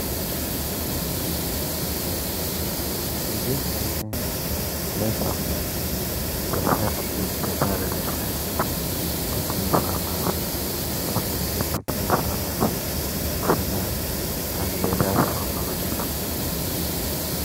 to give something collect something dey help keep beta relationship between farmers relationship between farmers seller and leaders for community.